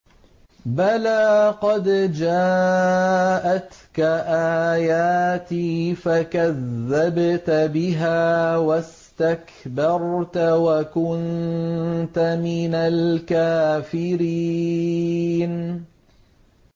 بَلَىٰ قَدْ جَاءَتْكَ آيَاتِي فَكَذَّبْتَ بِهَا وَاسْتَكْبَرْتَ وَكُنتَ مِنَ الْكَافِرِينَ